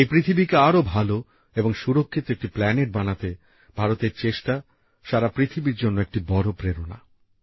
এই পৃথিবীকে আরও ভাল এবং সুরক্ষিত একটি প্ল্যানেট বানাতে ভারতের চেষ্টা সারা পৃথিবীর জন্য একটি বড় প্রেরণা